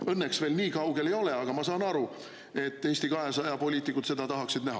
Noh, õnneks me veel nii kaugel ei ole, aga ma saan aru, et Eesti 200 poliitikud seda tahaksid näha.